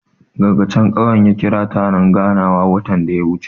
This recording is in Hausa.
Dagacin ƙauyen ya ƙira taron ganawa watan da ya wuce.